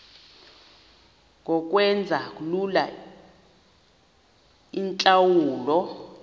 ngokwenza lula iintlawulo